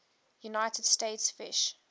united states fish